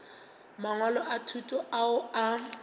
mangwalo a thuto ao a